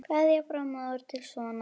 Kveðja frá móður til sonar.